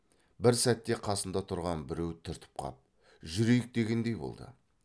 бір сәтте қасында тұрған біреу түртіп қап жүрейік дегендей болды